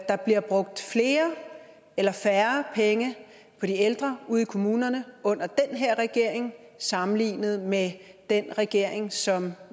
der bliver brugt flere eller færre penge på de ældre ude i kommunerne under den her regering sammenlignet med den regering som